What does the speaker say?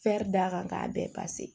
d'a kan k'a bɛɛ